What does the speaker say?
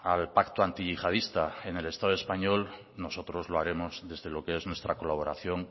al pacto antiyihadista en el estado español nosotros lo haremos desde lo que es nuestra colaboración